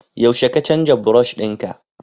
yaushe ka canza brush dinka?